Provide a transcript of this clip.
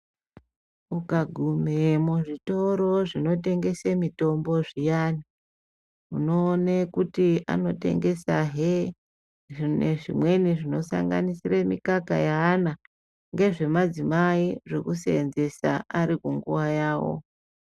Ukagume muzvitoro zvinotengese mitombo zviyani, unoone kuti anotengesa hee zviro zvimweni zvinosanganise mikaka yaana, ngezvemadzimai zvekuseenzesa ari kunguva yawo.